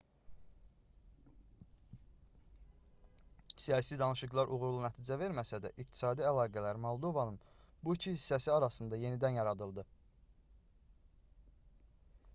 siyasi danışıqlar uğurlu nəticə verməsə də iqtisadi əlaqələr moldovanın bu iki hissəsi arasında yenidən yaradıldı